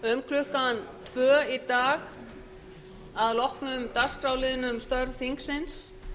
um klukkan tvö í dag að loknum dagskrárliðnum störf þingsins